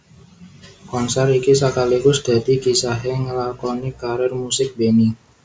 Konsèr iki sakaligus dadi kisahé ngelakoni karir musik Benny